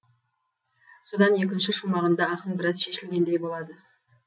содан екінші шумағында ақын біраз шешілгендей болады